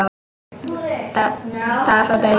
Dag frá degi.